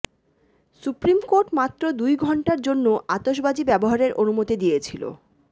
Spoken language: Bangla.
সুপ্রিম কোর্ট মাত্র দুই ঘণ্টার জন্য আতসবাজি ব্যবহারের অনুমতি দিয়েছিল